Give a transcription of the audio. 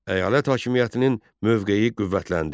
Əyalət hakimiyyətinin mövqeyi qüvvətləndi.